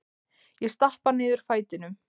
Ég stappa niður fætinum.